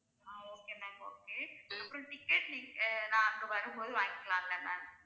ஆஹ் okay ma'am okay அப்பறம் ticket நீங்க ஆஹ் நான் அங்க வரும்போது வாங்கிக்கலாம்ல ma'am